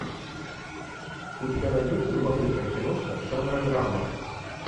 у тебя найдется любопытная киношка жанра драма